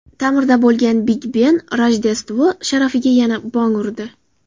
Ta’mirda bo‘lgan Big-ben Rojdestvo sharafiga yana bong urdi.